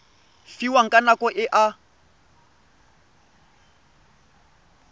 fiwang ka nako e a